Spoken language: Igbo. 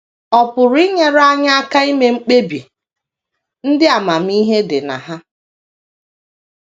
Ọ pụrụ inyere anyị aka ime mkpebi ndị amamihe dị na ha.